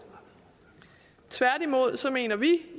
tværtimod mener vi